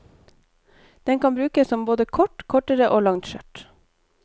Den kan brukes som både kort, kortere og langt skjørt.